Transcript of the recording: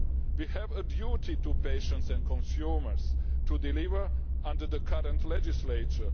We have a duty to patients and consumers to deliver under the current legislature.